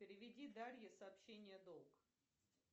переведи дарье сообщение долг